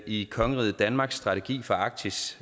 i kongeriget danmarks strategi for arktis